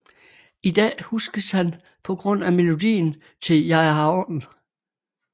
I dag huskes han på grund af melodien til Jeg er havren